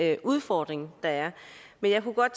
her udfordring der er men jeg kunne godt